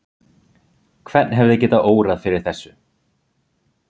Hvern hefði getað órað fyrir þessu?